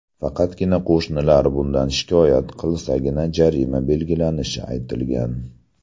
Faqatgina qo‘shnilar bundan shikoyat qilsagina jarima belgilanishini aytgan.